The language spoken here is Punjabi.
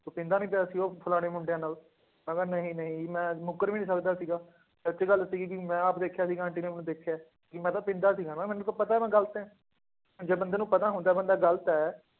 ਤੂੰ ਪੀਂਦਾ ਨੀ ਪਿਆ ਸੀ ਉਹ ਫਲਾਣੇ ਮੁੰਡਿਆਂ ਨਾਲ, ਮੈਂ ਕਿਹਾ ਨਹੀਂ ਨਹੀਂ ਮੈਂ ਮੁੱਕਰ ਵੀ ਨੀ ਸਕਦਾ ਸੀਗਾ, ਸੱਚੀ ਗੱਲ ਸੀਗੀ ਕਿ ਮੈਂ ਆਪ ਦੇਖਿਆ ਸੀਗਾ ਆਂਟੀ ਨੇ ਮੈਨੂੰ ਦੇਖਿਆ ਹੈ, ਕਿ ਮੈਂ ਤਾਂ ਪੀਂਦਾ ਸੀਗਾ ਨਾ ਮੈਨੂੰ ਤਾਂ ਪਤਾ ਮੈਂ ਗ਼ਲਤ ਹੈ, ਜੇ ਬੰਦੇ ਨੂੰ ਪਤਾ ਹੁੰਦਾ ਹੈ ਬੰਦਾ ਗ਼ਲਤ ਹੈ